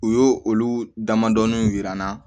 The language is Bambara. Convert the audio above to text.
U y'o olu damadɔnin yira n na